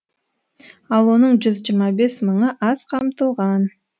ал оның жүз жиырма бес мыңы аз қамтылған